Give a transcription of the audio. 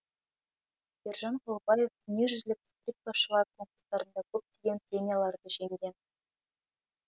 ержан құлыбаев дүниежүзілік скрипкашылар конкурстарында көптеген премияларды жеңген